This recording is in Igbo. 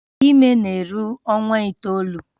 Ime ime na-eru ọnwa itoolu